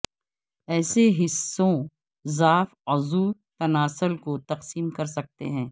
ایسے حصوں ضعف عضو تناسل کو تقسیم کر سکتے ہیں